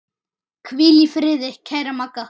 Hvíl í friði kæra Magga.